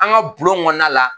An ka bulon kɔnɔna la